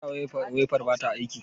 Mai yasa waifar bata aiki?